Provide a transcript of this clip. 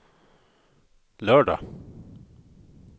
lördag